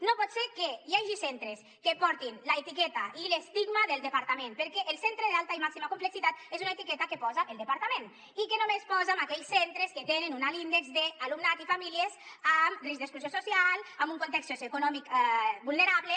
no pot ser que hi hagi centres que portin l’etiqueta i l’estigma del departament perquè el centre d’alta i màxima complexitat és una etiqueta que posa el departament i que només posa a aquells centres que tenen un alt índex d’alumnat i famílies en risc d’exclusió social amb un context socioeconòmic vulnerable